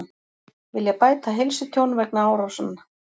Vilja bæta heilsutjón vegna árásanna